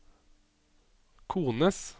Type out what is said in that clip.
kones